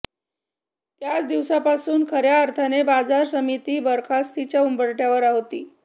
त्याच दिवसापासून खर्या अर्थाने बाजार समिती बरखास्तीच्या उंबरठ्यावर होती